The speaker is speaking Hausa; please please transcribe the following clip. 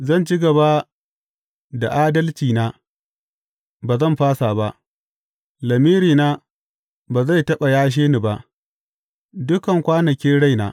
Zan ci gaba da adalcina, ba zan fasa ba; lamirina ba zai taɓa yashe ni ba, dukan kwanakin raina.